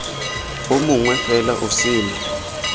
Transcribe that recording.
o mongwe fela o sele